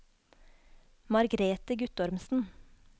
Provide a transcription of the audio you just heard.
Margrethe Guttormsen